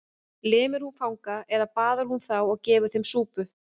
Lemur hún fanga eða baðar hún þá og gefur þeim súpu?